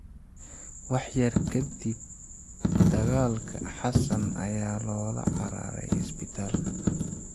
Wax yar ka dib dagaalka, Xassan ayaa loola cararay isbitaalka.